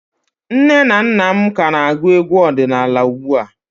Nne na nna m ka na-agụ egwu ọdịnala ugbu a